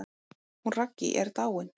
Hún Raggý er dáin.